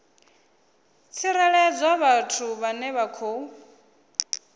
tsireledzwa vhathu vhane vha khou